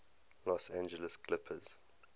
los angeles clippers